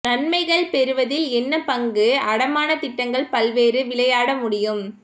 நன்மைகள் பெறுவதில் என்ன பங்கு அடமான திட்டங்கள் பல்வேறு விளையாட முடியும்